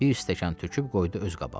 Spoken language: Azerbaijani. Bir stəkan töküb qoydu öz qabağına.